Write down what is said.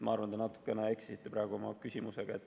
Ma arvan, te natuke eksisite praegu oma küsimusega.